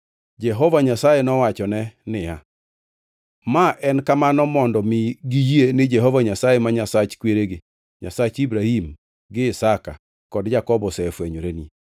Jehova Nyasaye nowachone niya, “Ma en kamano mondo mi giyie ni Jehova Nyasaye ma Nyasach kweregi; Nyasach Ibrahim gi Isaka kod Jakobo osefwenyoreni.”